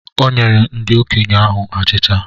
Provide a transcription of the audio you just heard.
Onyerem ndi okenye ahu achicha.